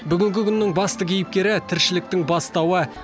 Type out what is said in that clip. бүгінгі күннің басты кейіпкері тіршіліктің бастауы